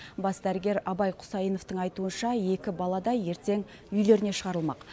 бас дәрігер абай құсайыновтың айтуынша екі бала да ертең үйлеріне шығарылмақ